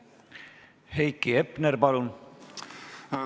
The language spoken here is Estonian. Heiki Hepner, palun!